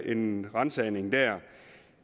en ransagning det er